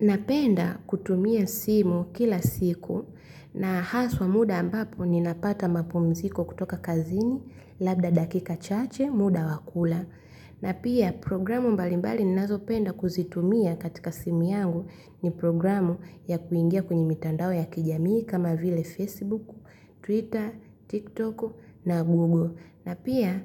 Napenda kutumia simu kila siku na haswa muda ambapo ninapata mapumziko kutoka kazini, labda dakika chache, muda wa kula. Na pia programu mbalimbali ninazo penda kuzitumia katika simu yangu ni programu ya kuingia kwenye mitandao ya kijamii kama vile Facebook, Twitter, TikTok na Google. Na pia